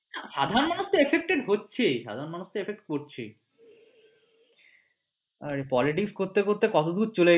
সাধারণ মানুষ তো effect হচ্ছেই সাধারণ মানুষ তো effect করছেই ঠিক politics করতে করতে কতদূর চলে গেছে।